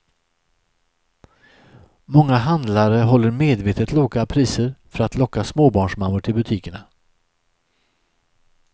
Många handlare håller medvetet låga priser för att locka småbarnsmammor till butikerna.